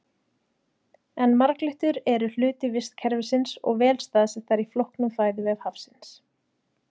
En marglyttur eru hluti vistkerfisins og vel staðsettar í flóknum fæðuvef hafsins.